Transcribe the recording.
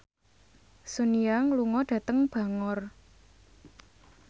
Sun Yang lunga dhateng Bangor